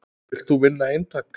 Vilt þú vinna eintak?